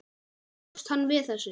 Bjóst hann við þessu?